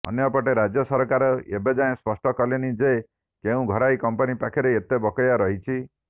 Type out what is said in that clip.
ଅନ୍ୟପଟେ ରାଜ୍ୟ ସରକାର ଏବେଯାଏଁ ସ୍ପଷ୍ଟ କଲେନି ଯେ କେଉଁ ଘରୋଇ କମ୍ପାନୀ ପାଖରେ କେତେ ବକେୟା ରହିଛି